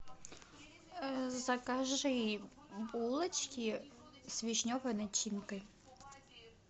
закажи булочки с вишневой начинкой